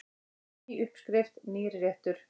Ný uppskrift, nýr réttur.